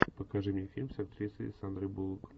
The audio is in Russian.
покажи мне фильм с актрисой сандрой буллок